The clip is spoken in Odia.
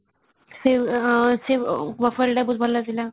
ସେ ଟା ବି ବହୁତ ଭଲ ଥିଲା |